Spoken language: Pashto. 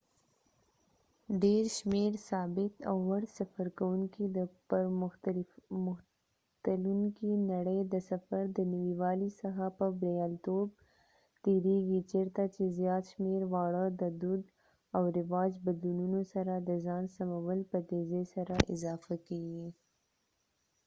ډیر شمیر ثابت او وړ سفرکوونکي د پرمختلونکې نړئ د سفر د نوي والي څخه په بریالیتوب تیریږي چیرته چې زیات شمیر واړه د دود او رواج بدلونونو سره د ځان سمول په تیزئ سره اضافه کیږي